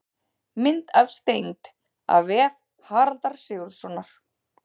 Mynd af steind: af vef Haraldar Sigurðssonar.